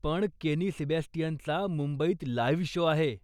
पण केनी सॅबेस्टियनचा मुंबईत लाइव्ह शो आहे.